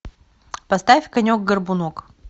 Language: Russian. поставь конек горбунок